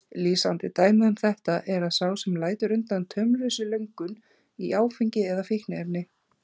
Lýsandi dæmi um þetta er sá sem lætur undan taumlausri löngun í áfengi eða fíkniefni.